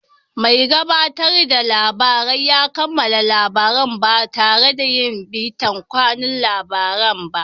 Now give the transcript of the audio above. Mai gabatarda labarai ya kammala labaran ba tare yin bitan kanun labarai ba.